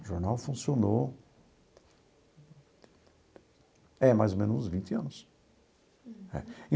O jornal funcionou... É, mais ou menos uns vinte anos.